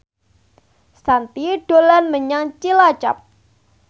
Shanti dolan menyang Cilacap